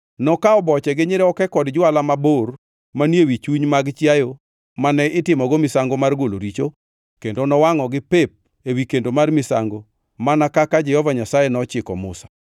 Nokawo boche gi nyiroke kod jwala mabor manie wi chuny mag chiayo mane itimogo misango mar golo richo, kendo nowangʼogi pep ewi kendo mar misango mana kaka Jehova Nyasaye nochiko Musa.